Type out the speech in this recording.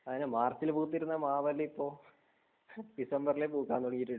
അതെ മാർച്ചിൽ പൂത്തിരുന്ന മാവെല്ലാം ഇപ്പോൾ ഡിസംബറിലെ പൂക്കാൻ തുടങ്ങിയിട്ടുണ്ട്